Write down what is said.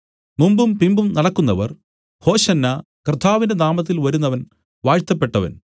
മുമ്പും പിമ്പും നടക്കുന്നവർ ഹോശന്നാ കർത്താവിന്റെ നാമത്തിൽ വരുന്നവൻ വാഴ്ത്തപ്പെട്ടവൻ